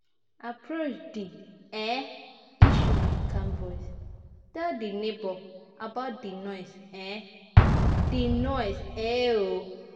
Approach di um issue with calm voice, tell di neighbour about di noise um di noise um